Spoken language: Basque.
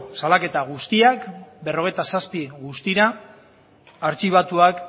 salaketa guztiak berrogeita zazpi guztira artxibatuak